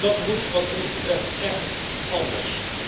Dat moet wat ons betreft echt anders.